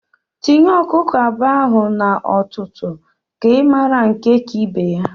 Tinye Ọkụkọ abụọ ahụ na ọtụtụ ka I mara nke ka ibe ya!